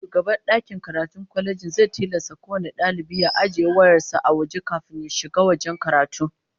Shugaban dakin karatun kwalejin zai tilasta kowane dalibi ya ajiye wayar sa a waje kafin ya shiga wajen karatu